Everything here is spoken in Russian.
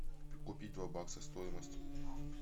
купить два бакса стоимость